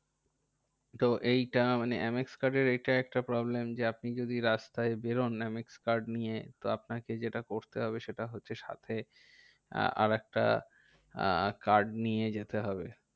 তো এই কারণে এম এক্স card এর এইটা একটা problem যে, আপনি যদি রাস্তায় বেরোন এম এক্স card নিয়ে তো আপনাকে যেটা করতে হবে, সেটা হচ্ছে যে সাথে আরেকটা card আহ নিয়ে যেতে হবে।